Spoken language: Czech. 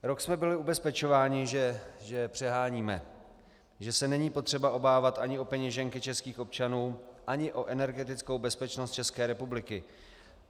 Rok jsme byli ubezpečováni, že přeháníme, že se není potřeba obávat ani o peněženky českých občanů, ani o energetickou bezpečnost České republiky.